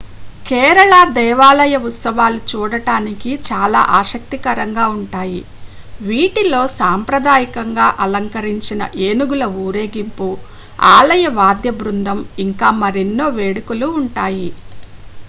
కేరళ దేవాలయ ఉత్సవాలు చూడడానికి చాలా ఆసక్తికరంగా ఉంటాయి వీటిలో సాంప్రదాయకంగా అలంకరించిన ఏనుగుల ఊరేగింపు ఆలయ వాద్య బృందం ఇంకా మరెన్నో వేడుకలు ఉంటాయి